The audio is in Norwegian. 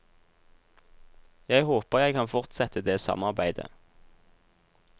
Jeg håper jeg kan fortsette det samarbeidet.